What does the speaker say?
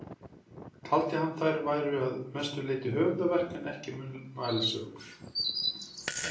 Taldi hann að þær væru að mestu leyti höfundaverk en ekki munnmælasögur.